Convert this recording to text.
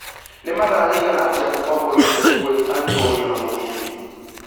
nĩ mathaariĩgana atĩa kuuma voi nginya kibwezi Antonio na mũgithi